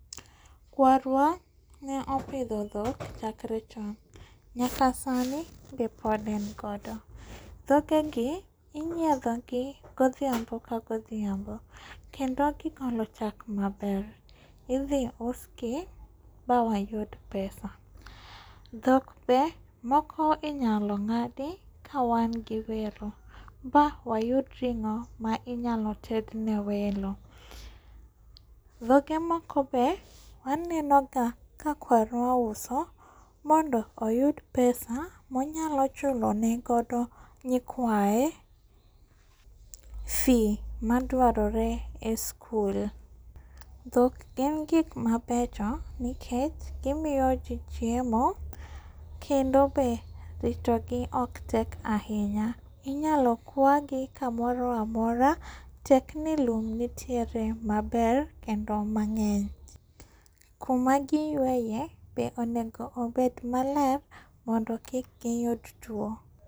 Kwarwa ne opidho dhok chakre chon. Nyaka sani be pod en godo dhogegi inyiedhogi godhiambo ka godhiambo kendo ki kano chak maber idhi usgi ma wayud pesa. Dhok be moko inyalo ng'adi ka wangi welo ba wayud ring'o ma inyalo tedne welo. Dhoge moko be wanenoga ka kwarwa uso mondo oyud pesa monyalo chulone godo nykwaye fee madwarore e skul. Dhok en gik mabecho nikech gimiyoji chiemo kendo be ritogi ok tek ahinya. Inyalo kwagi kamoro amaro tek ni lum nitiere maber kendo mag'eny. Kuma gi yweye be onengo bed maler mondo kik giyud tuo.